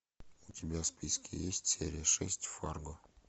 у тебя в списке есть серия шесть фарго